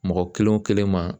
Mɔgɔ kelen o kelen ma.